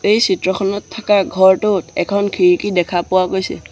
এই চিত্ৰখনত থাকা ঘৰটোত এখন খিৰিকী দেখা পোৱা গৈছে।